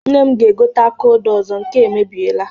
Nne m ga-egote aka odo ọzọ, nke a emebieela.